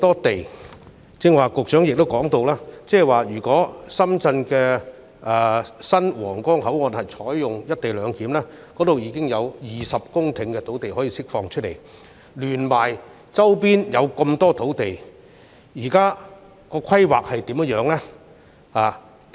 局長剛才亦提到，如果深圳新皇崗口岸採用"一地兩檢"安排，將可釋放香港落馬洲管制站的20公頃土地，再加上周邊的許多土地，政府目前對這些土地有何規劃？